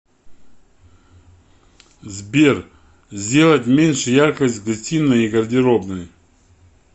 сбер сделать меньше яркость в гостиной и гардеробной